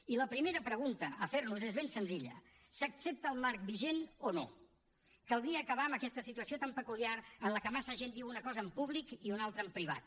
i la primera pregunta a fer nos és ben senzilla s’accepta el marc vigent o no caldria acabar amb aquesta situació tan peculiar en la que massa gent diu una cosa en públic i una altra en privat